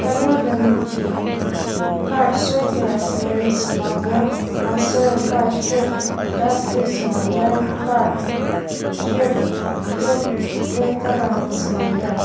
tanurtemji kar sweater maroon sema lir aser kar shirt dark blue sema lir kar shirt check red colour nung sema lir.